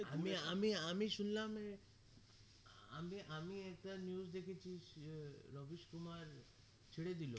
আমি আমি আমি শুনলাম এ আমি আমি একটা news দেখেছি সে রাবিশ কুমার ছেড়ে দিলো